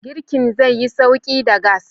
Girkin zaiyi sauƙi da gas.